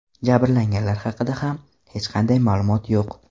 Jabrlanganlar haqida ham hech qanday ma’lumot yo‘q.